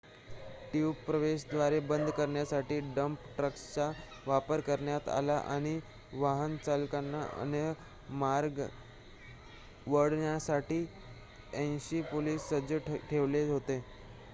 tube प्रवेशद्वारे बंद करण्यासाठी डंप ट्रक्सचा वापर करण्यात आला आणि वाहन चालकांना अन्य मार्गे वळवण्यासाठी 80 पोलिस सज्ज ठेवले होते